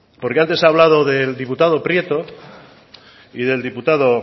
porque antes he hablado del diputado prieto y del diputado